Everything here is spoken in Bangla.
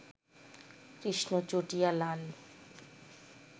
কৃষ্ণ চটিয়া লাল